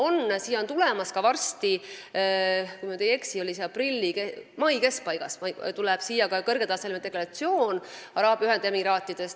Varsti tuleb siia – kui ma eksi, siis mai keskpaigas – kõrgetasemeline delegatsioon Araabia Ühendemiraatidest.